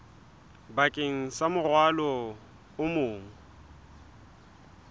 bakeng sa morwalo o mong